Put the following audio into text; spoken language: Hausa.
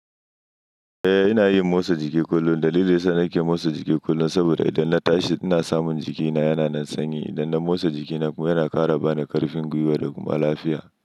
Eh, ina yin motsa jiki kullum. Dalili yasa nake motsa jiki kullum saboda idan na tashi ina samun jikina yana nan sanyi. Idan na motsa jikina kuma yana ƙara bani ƙarfin gwiwa da kuma lafiya.